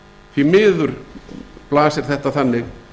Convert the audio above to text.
því miður blasir þetta þannig